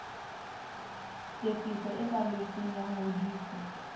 tefiso e balletsweng ya ngodiso